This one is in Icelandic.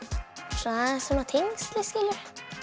svona aðeins tengsl skilurðu